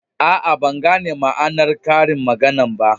Aa, ban gane ma'anar karin maganan ba.